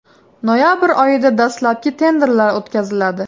Noyabr oyida dastlabki tenderlar o‘tkaziladi.